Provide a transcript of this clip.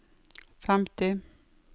femti